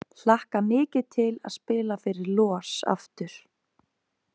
Hlakka mikið til að spila fyrir LOS aftur!